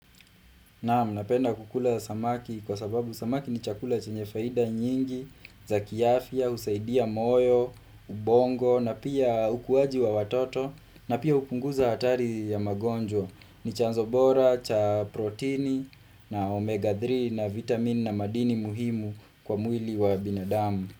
Naam, Napenda kukula samaki kwa sababu samaki ni chakula chenye faida nyingi, za kiafya, husaidia moyo, ubongo, na pia ukuaji wa watoto, na pia hupunguza hatari ya magonjwa, ni chanzo bora cha proteini na omega 3 na vitamin na madini muhimu kwa mwili wa binadamu.